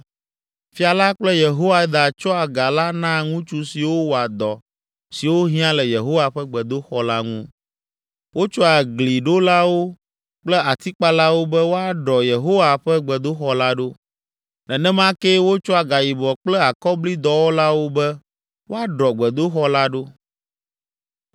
Fia la kple Yehoiada tsɔa ga la naa ŋutsu siwo wɔa dɔ siwo hiã le Yehowa ƒe gbedoxɔ la ŋu. Wotsɔa gliɖolawo kple atikpalawo be woaɖɔ Yehowa ƒe gbedoxɔ la ɖo. Nenema kee wotsɔa gayibɔ kple akɔbli dɔwɔlawo be woaɖɔ gbedoxɔ la ɖo.